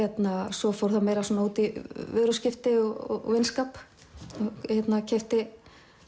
svo fór það meira út í vöruskipti og vinskap ég keypti